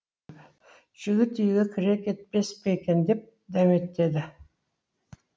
жігіт үйге кіре кетпес пе екен деп дәметеді